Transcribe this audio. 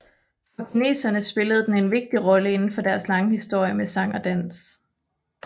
For kineserne spillede den en vigtig rolle inden for deres lange historie med sang og dans